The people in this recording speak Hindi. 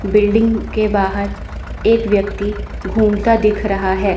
बिल्डिंग के बाहर एक व्यक्ति घूमता दिख रहा है।